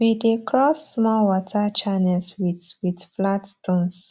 we dey cross small water channels with with flat stones